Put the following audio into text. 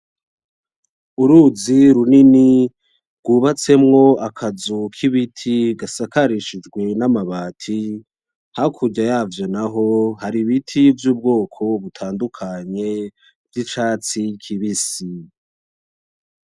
Uruzi runini rwubatsemwo akazu k'ibiti gasakarishijwe n'amabati. Hakurya yavyo naho haribiti vy'ubwoko butandukanye vy''icatsi kibisi.